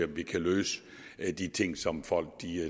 vi kan løse de ting som folk